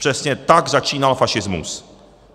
Přesně tak začínal fašismus.